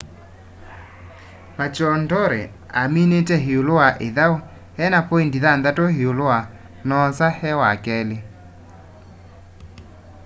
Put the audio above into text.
maroochydore aminite iulu wa ithau ena poindi thanthatu iulu wa noosa e wakeli